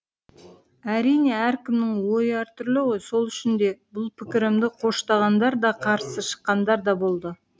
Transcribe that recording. әрине әркімнің ойы әртүрлі ғой сол үшін де бұл пікірімді қоштағандар да қарсы шыққандар да болды